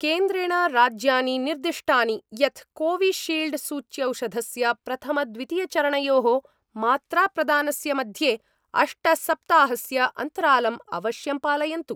केन्द्रेण राज्यानि निर्दिष्टानि यत् कोविशील्डसूच्यौषधस्य प्रथमद्वितीयचरणयोः मात्राप्रदानस्य मध्ये अष्टसप्ताहस्य अन्तरालं अवश्यं पालयन्तु।